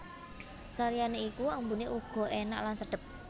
Saliyane iku ambune uga enak lan sedhep